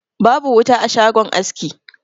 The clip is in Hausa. Babu wuta a shagon aski.